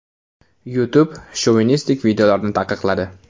YouTube shovinistik videolarni taqiqladi.